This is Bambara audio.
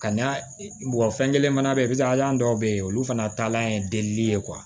Ka na fɛn kelen fana be yen an dɔw be yen olu fana taalan ye deli ye